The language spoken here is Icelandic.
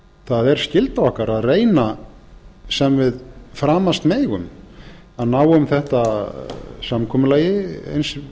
það er skylda okkar að reyna sem við framast megum að ná um þetta samkomulagi eins